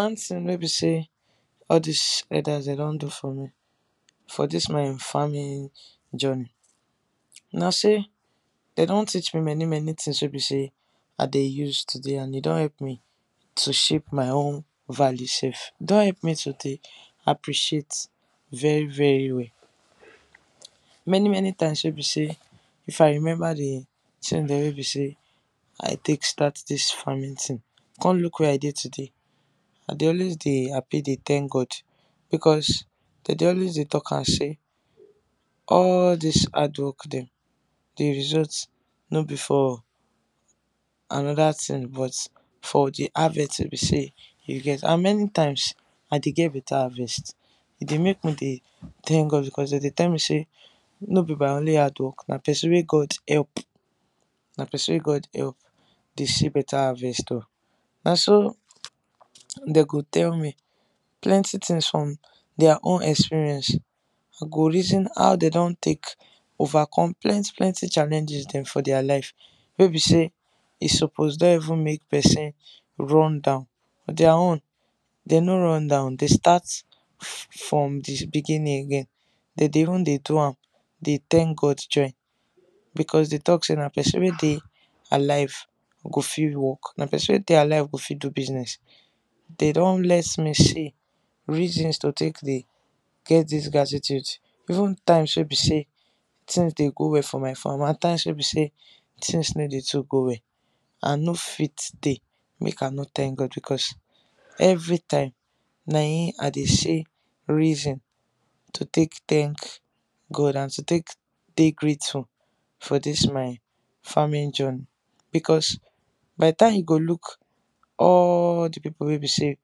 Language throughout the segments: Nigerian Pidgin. One tin wey be say all dis elders dem don do for me for dis my Farming journey na say dem don teach me many many things wey be say I de use today and e don help me to shape my own value sef. E don help me to dey appreciate very very well. Many many times wey be say, If I remember d tin dem wey be say I take start this farming tin come look where I de today, I de always de happy dey thank God because dey dey always de talk am say, all this hard work dem d result no be for another tin but d harvest wey be say, you get and many times I de get better harvest e de make me dey thank God because dem de tell me say no be by only hard work na person wey God help, dey see better harvest o. Na so dey go tell me, plenty things from their own experience, I go reason how dem don take overcome plenty plenty challenges dem for their life wey be say e suppose don even make person run down, but their own dem no run down they start from d beginning again dey dey even de do am de thank God join because de talk say na person wey de alive go fit work, na person wey de alive go fit do business, then don let me say reasons to take de get this gratitude even times wey be say tins de go well for my farm and times wey be say tins no de too go well I no fit dey make I no thank God because, everytime na him I de see reason to take thank God and to take dey grateful for this my Farming journey, because by the time you go look all d people wey be say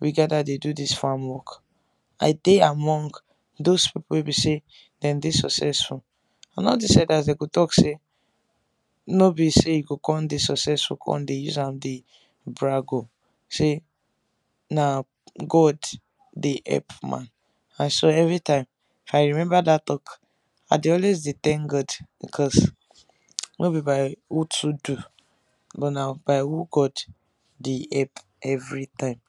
we gather de do this farm work, I de among those people wey be say dem de successful and all this elders dem go talk say no be say you go come de successful come de use am de brag o, say na God de help man. I sweear everytime if I remember that talk, I de always de thank God because no be by who to do but na by who God de epp everytime.